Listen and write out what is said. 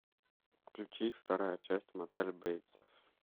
включи вторая часть мотель бейтсов